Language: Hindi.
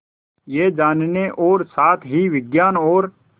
यह जानने और साथ ही विज्ञान और